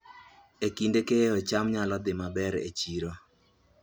E kinde keyo, cham nyalo dhi maber e chiro